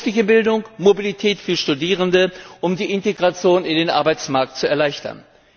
Berufliche Bildung, Mobilität für Studierende, um die Integration in den Arbeitsmarkt zu erleichtern.